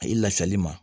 A ye lafiyali ma